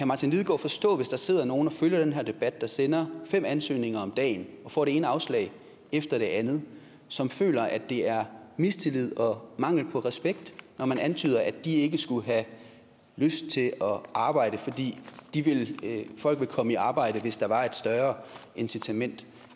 martin lidegaard forstå hvis der sidder nogle og følger den her debat og som sender fem ansøgninger om dagen og får det ene afslag efter det andet som føler at det er mistillid og mangel på respekt når man antyder at de ikke skulle have lyst til at arbejde fordi de folk ville komme i arbejde hvis der var et større incitament